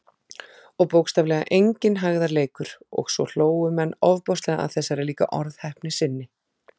Og bókstaflega enginn hægðarleikur- og svo hlógu menn ofboðslega að þessari líka orðheppni sinni.